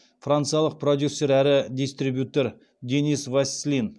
франциялық продюсер әрі дистрибьютер денис васслин